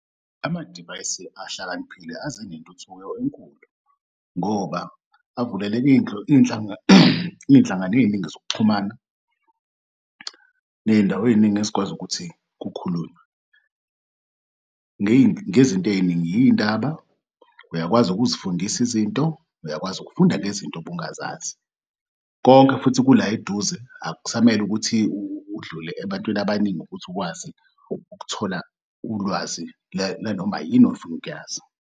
Amadivayisi ahlakaniphile aze nentuthuko enkulu ngoba avuleleki iy'nhlangano ey'ningi zokuxhumana ney'ndawo ey'ningi ezikwazi ukuthi kukhulunywe, ngezinto ey'ningi iy'ndaba uyakwazi ukuzifundis'izinto, uyakwazi ukufunda ngezinto bungazazi konke futhi kula eduze akusamele ukuthi udlule ebantwini abaningi ukuthi ukwazi ukuthola ulwazi lanoma yini ofunuk'yazi.